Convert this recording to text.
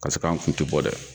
Ka se k'an kun tɛ bɔ dɛ.